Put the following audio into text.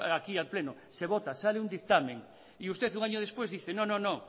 aquí al pleno se vota sale un dictamen y usted un año después dice no no